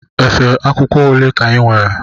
Efe akwụkwọ ole ka inwere?